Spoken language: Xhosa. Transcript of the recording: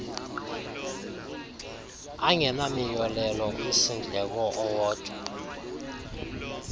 angenamiyolelo umsindleko owodwa